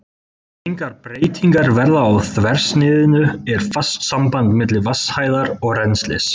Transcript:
Meðan engar breytingar verða á þversniðinu er fast samband milli vatnshæðar og rennslis.